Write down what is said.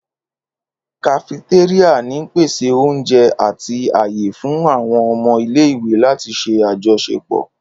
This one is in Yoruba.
Kafetéríà n pese oúnjẹ ati aaye fun àwọn ọmọ ile-iwe lati ṣe ajọṣepọ.